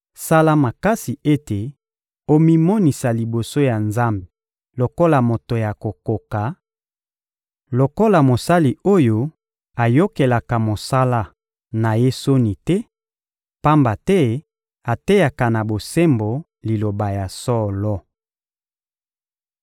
Sala makasi ete omimonisa liboso ya Nzambe lokola moto ya kokoka, lokola mosali oyo ayokelaka mosala na ye soni te, pamba te ateyaka na bosembo Liloba ya solo.